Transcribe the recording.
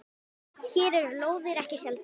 Hér eru lóðir ekki seldar.